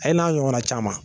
A ye n'a ɲɔgɔnna caman